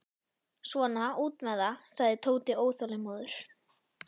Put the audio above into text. Svona, út með það, sagði Tóti óþolinmóður.